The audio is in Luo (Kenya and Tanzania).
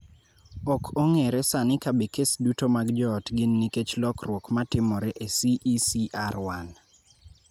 Ok ong�ere sani ka be kes duto mag joot gin nikech lokruok ma timore e CECR1.